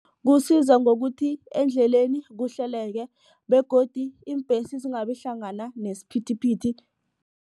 Kusiza ngokuthi endleleni kuhleleke begodu iimbhesi zingabi hlangana nesiphithiphithi.